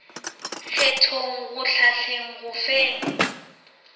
kgethong go hlahleng go feng